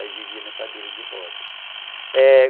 Aí vivia na cadeira de rodas. É...